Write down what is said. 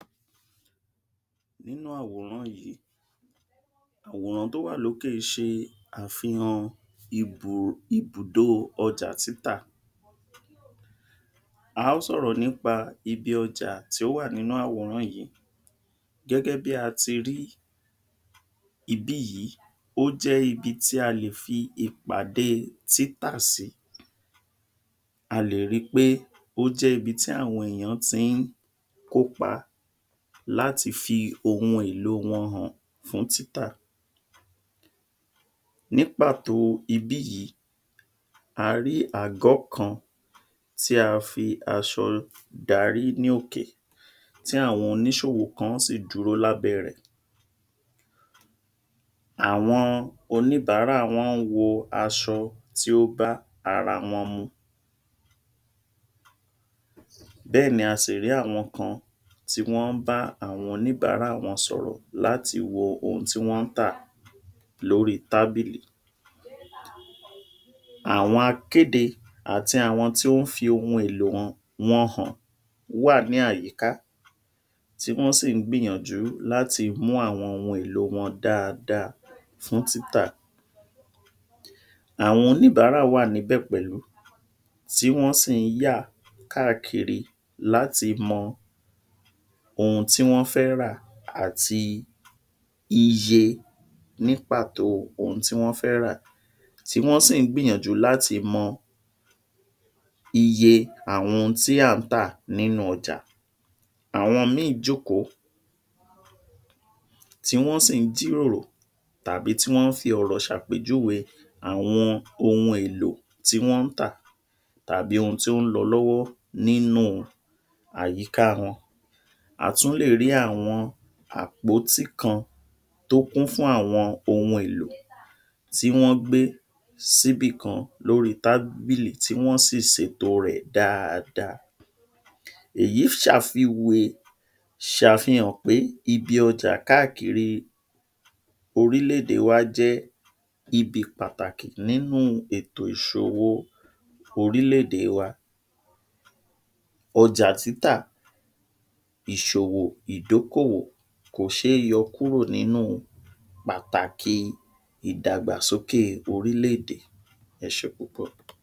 Nínú àwòrán yìí, àwòrán tó wà lókè ṣe àfihàn um ibùdó ọjà títà. A ó sọ̀rọ̀ nípa ibi ọjà tí ó wà nínú àwòrán yìí. Gẹ́gẹ́ bí a ti rí ibí yìí, ó jẹ́ ibi tí a lè fi ìpàdée títà sí. A lè ri pé ó jẹ́ ibi tí àwọn èèyàn ti ń kópa láti fi ohun-èlò wọn hàn fún títà. Ní pàtó ibí yìí, a rí àgọ́ kan tí a fi aṣọ darí ní òkè tí àwọn oníṣòwò kán sì dúró lábẹ́ rẹ̀. Àwọn oníbàárà wọ́n wo aṣọ tí ó bá ara wọn mu. Bẹ́ẹ̀ ni a sì rí àwọn kan tí wọ́n ń bá àwọn oníbàárà wọn sọ̀rọ̀ láti wo ohun tí wọ́n ń tà lórí tábìlì. Àwọn akéde àti àwọn tí ó ń fi ohun-èlò um wọn hàn wà ní àyíká tí wọ́n sì ń gbìyànjú láti mú àwọn ohun-èlò wọn dáadáa fún títà. Àwọn oníbàárà wà níbẹ̀ pẹ̀lú tí wọ́n sì ń yà káàkiri láti mọ ohun tí wọ́n fẹ́ rà àti iye ní pàtó ohun tí wọ́n fẹ́ rà tí wọ́n sì ń gbìyànjú láti mọ iye àwọn ohun tí à ń tà nínú ọjà. Àwọn míì jókòó tí wọ́n sì ń jíròrò tàbí tí wọ́n ń fi ọ̀rọ̀ ṣàpèjúwe àwọn ohun-èlò tí wọ́n ń tà tàbí ohun tí ó ń lọ lọ́wọ́ nínú un àyíká wọn. A tún lè rí àwọn àpótí kan tó kún fún àwọn ohun-èlò tí wọ́n gbé síbìkan lórí tábìlì tí wọ́n sì sètò rẹ̀ dáadáa. Èyí ṣàfihàn pé ibi ọjà káàkiri orílẹ̀-èdè wá jẹ́ ibi pàtàkì nínú ètò ìṣòwò orílẹ̀-èdè wa. Ọjà títà, ìṣòwò, ìdókòwò kò ṣe é yọ kúrò nínú pàtàkì ìdàgbàsókè orílẹ̀-èdè. Ẹ ṣé púpọ̀.